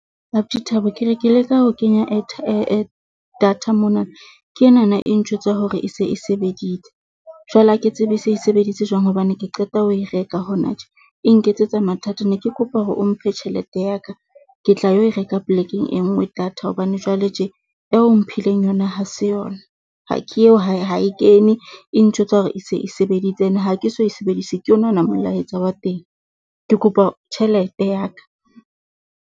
Abuti Thabo, ke re ke leka ho kenya data mona. Ke enana e ntjwetsa hore e se e sebeditse jwale ha ke tsebe se e sebeditse jwang hobane ke qeta ho e reka hona tje e nketsetsa mathata. Ne ke kopa hore o mphe tjhelete ya ka ke tla yo e reka plek-eng e nngwe data hobane jwale tje eo o mphileng yona ha se yona. Ha ke eo ha ha e kene e ntjwetsa hore e se e sebeditse ene ha ke so e sebedise ke yona ona molaetsa wa teng. Ke kopa tjhelete ya ka.